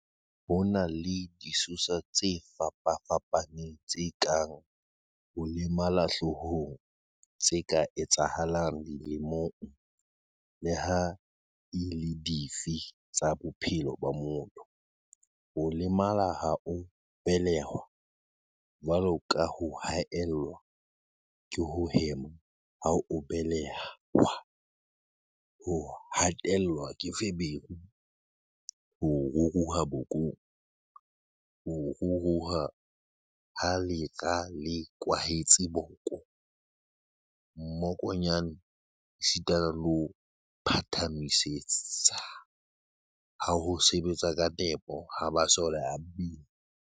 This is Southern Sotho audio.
Ho na le disosa tse fapa-fapaneng tse kang ho lemala hloohong tse ka etsahalang dilemong leha e le dife tsa bophelo ba motho, ho lemala ha o belehwa, jwalo ka ho haellwa ke ho hema ha o be-lehwa, ho hatellwa ke feberu, ho ruruha bokong, ho ruruha ha lera le kwahetseng boko, mmokonyane esitana le ho phatsamiseha ha ho sebetsa ka nepo ha masole a mmele.